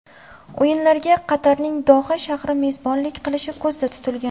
O‘yinlarga Qatarning Doha shahri mezbonlik qilishi ko‘zda tutilgan.